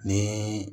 Ni